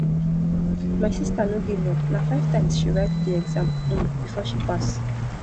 my sista no giveup na five times she write di exam um before she pass